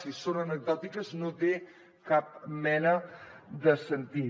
si són anecdòtiques no tenen cap mena de sentit